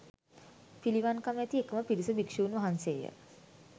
පිළිවන්කම ඇති එකම පිරිස භික්ෂූන් වහන්සේය